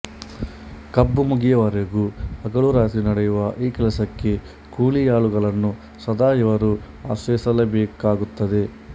ಕಬ್ಬು ಮುಗಿಯುವವರೆಗೂ ಹಗಲು ರಾತ್ರಿ ನಡೆಯುವ ಈ ಕೆಲಸಕ್ಕೆ ಕೂಲಿ ಆಳುಗಳನ್ನು ಸದಾ ಇವರು ಆಶ್ರಯಿಸಲೇಬೇಕಾಗುತ್ತದೆ